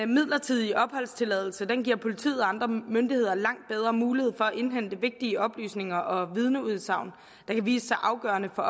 midlertidige opholdstilladelse giver politiet og andre myndigheder langt bedre mulighed for at indhente vigtige oplysninger og vidneudsagn der kan vise sig afgørende for